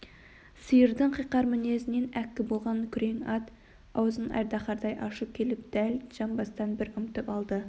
сиырдың қиқар мінезінен әккі болған күрең ат аузын айдаһардай ашып келіп дәл жамбастан бір мытып алды